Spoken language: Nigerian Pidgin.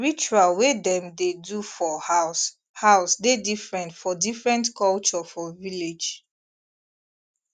ritual wey dem dey do for house house dey different for different culture for village